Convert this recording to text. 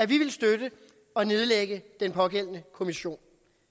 ville støtte at nedlægge den pågældende kommission